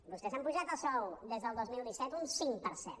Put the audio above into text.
vostès s’han apujat el sou des del dos mil disset un cinc per cent